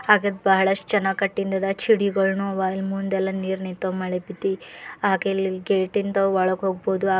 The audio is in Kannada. ಹಾಗತ್ತ ಬಾಳಷ್ಟ ಜನ ಕಟ್ಟಿಂದ ಅದ ಚಿಡಿಗೋಳನು ಅವ ಅಲ್ಲಿ ಮುಂದ ಎಲ್ಲಾ ನಿರ ನಿಂತಾವ ಮಳಿ ಬಿದ್ದಿ ಹಾಗ ಅಲ್ಲಿ ಗೇಟಿಂದ ಒಳಗ ಹೋಗಬಹುದು ಹಾ --